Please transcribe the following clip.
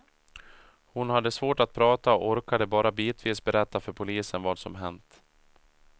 Hon hade svårt att prata och orkade bara bitvis berätta för polisen vad som hänt.